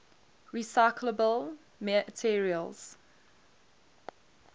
recyclable materials